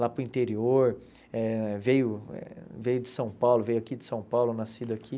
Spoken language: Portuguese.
Lá para o interior, eh veio veio de São Paulo, veio aqui de São Paulo, nascido aqui.